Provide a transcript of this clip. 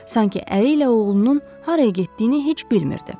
Sanki əri ilə oğlunun haraya getdiyini heç bilmirdi.